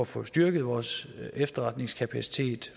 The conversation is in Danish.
får styrket vores efterretningskapacitet